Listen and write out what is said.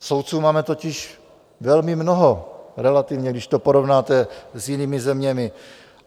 Soudců máme totiž velmi mnoho relativně, když to porovnáte s jinými zeměmi.